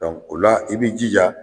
o la i bɛ i jija